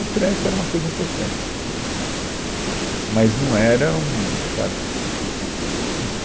O trânsito era uma coisa importante, mas não era um... sabe, enfim